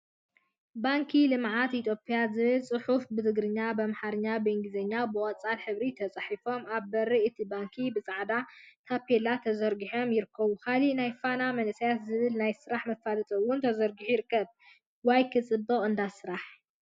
ባንኪ ልምዓት ኢትዮጵያ ዝብል ፅሑፍ ብትግርኛ፣ ብአምሓርኛን እንግሊዘኛን ብቆፃል ሕብሪ ተፃሒፎም አብ በሪ እቲ ባንኪ ብፃዕዳ ታፔላ ተዘርጊሖም ይርከቡ፡፡ ካሊእ ናይ ፋና መናእሰይ ዝብል ናይ ስራሕ መፋለጢ እውን ተዘርጊሑ ይርከብ፡፡ ዋይ ክፅብቅ እንዳ ስራሕ!